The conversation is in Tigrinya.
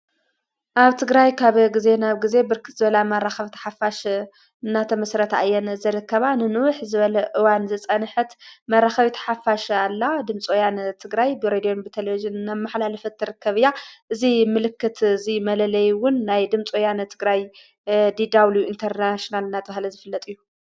ኣብ ትግራይ ካብ ጊዜ ናብ ጊዜ ብርክት ዝበላ መራኽቢቲ ሓፋሽ እናተመስረታ ኣየን ዝረከባ ንንውህ ዘበለ እዋን ዘፀንሕት መራኸቢይት ሓፋሽ ኣላ ድምፂወ ያን ትግራይ ብሬድዮን ብቴሌቪዤንን እናመሕላለፈት ተርከብ እዙይ ምልክት እዙይ መለለይውን ናይ ድምፆያን እትግራይ ዲዳውሊው ኢንተርናሺናል እናተብሃለ ዝፍለጥ እዩ።